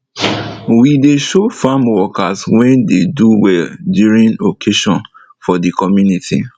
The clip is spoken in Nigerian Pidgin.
we dey show farm worker wey dey do well during occasion for de community